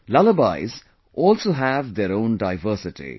Lullabies also have their own diversity